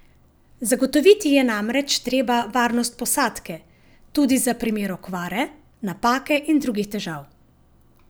Zagotoviti je namreč treba varnost posadke, tudi za primer okvare, napake in drugih težav.